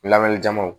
Lawale jamaw